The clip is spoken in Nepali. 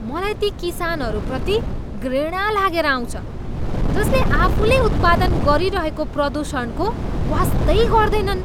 मलाई ती किसानहरूप्रति घृणा लागेर आउँछ जसले आफूले उत्पन्न गरिरहेको प्रदूषणको वास्तै गर्दैनन्।